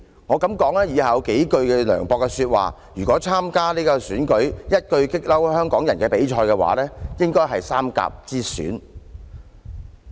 我敢說以下這數句涼薄說話，如果用於參加"一句'激嬲'香港人"比賽，相信將會是三甲之選。